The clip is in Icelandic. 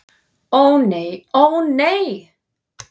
Ó nei, ó nei!